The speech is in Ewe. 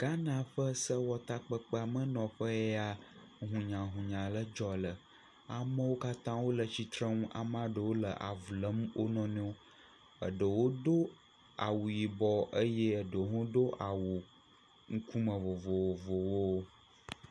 Ghana ƒe sewɔtakpeamenɔƒee ya hunyahunya le dzɔ le. Amewo katã wole tsitsreŋu. Amaa ɖewo e avu lém wo nɔnɔewo. Eɖewo do awu yibɔ eye eɖwo hã do awu ŋkume vovovowo.